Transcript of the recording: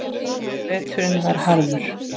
Veturinn var harður.